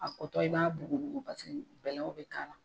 A kotɔ i b'a bugubugu paseke bɛlɛn bɛ k'a la.